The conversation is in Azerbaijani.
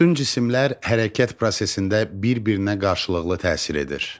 Bütün cisimlər hərəkət prosesində bir-birinə qarşılıqlı təsir edir.